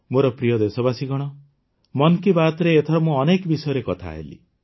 ମୋର ପ୍ରିୟ ଦେଶବାସୀଗଣ ମନ କୀ ବାତ୍ରେ ଏଥର ମୁଁ ଅନେକ ବିଷୟରେ କଥା ହେଲି